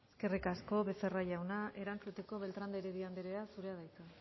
eskerrik asko becerra jauna erantzuteko beltran de heredia anderea zurea da hitza